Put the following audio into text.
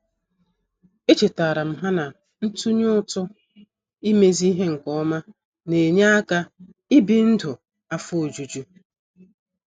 Echetaram ha na-ntunye ụtụ imezi ihe nke ọma na -enye aka ị bi ndụ afọ ojuju